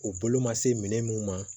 U bolo ma se minɛn mun ma